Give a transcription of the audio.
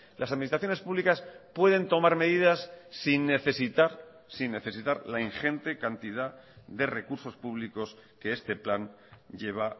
las administraciones públicas pueden tomar medidas sin necesitar sin necesitar la ingente cantidad de recursos públicos que este plan lleva